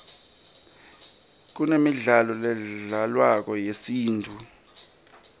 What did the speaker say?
kunemidlalo ledlalwako yesintfu